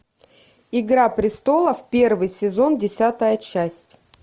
игра престолов первый сезон десятая часть